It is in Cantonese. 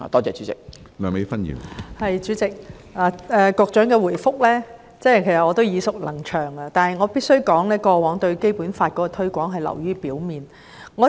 主席，局長的答覆我已經耳熟能詳，但我必須指出，政府過往對《基本法》的推廣流於表面。